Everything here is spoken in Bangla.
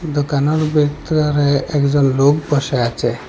দোকানের ভেতরে একজন লোক বসে আছে।